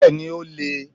Bẹ́ẹ̀ni, o le è